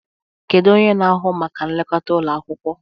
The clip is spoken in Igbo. Kedu onye na-ahụ maka nlekọta ụlọ akwụkwọ?